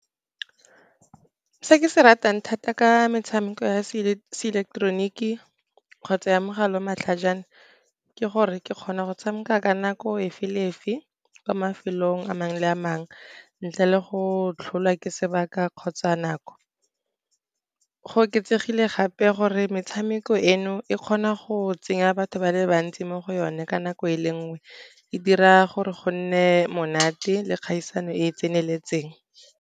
Se ke se ratang thata ka metshameko ya seileketoroniki kgotsa ya mogala wa matlhajana, ke gore ke kgona go tshameka ka nako efe le efe kwa mafelong a mangwe a mangwe ntle le go tlholwa ke sebaka kgotsa nako. Go oketsegile gape gore metshameko eno, e kgona go tsenya batho ba le bantsi mo go yone ka nako ele nngwe, e dira gore go nne monate le kgaisano e e tseneletseng.